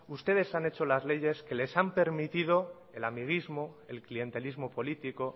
ustedes han hecho las leyes que les han permitido el amiguismo el clientelismo político